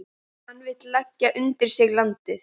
Hann vill leggja undir sig landið.